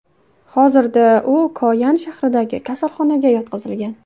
Hozirda u Koyan shahridagi kasalxonaga yotqizilgan.